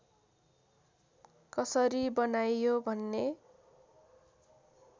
कसरी बनाइयो भन्ने